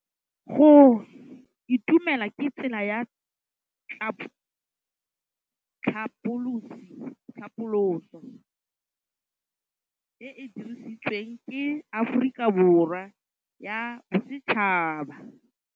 Go itumela ke tsela ya tlhapolisô e e dirisitsweng ke Aforika Borwa ya Bosetšhaba.